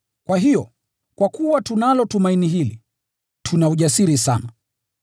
Kwa hiyo, kwa kuwa tunalo tumaini hili, tuna ujasiri sana.